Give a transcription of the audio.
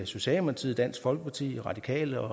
socialdemokratiet dansk folkeparti radikale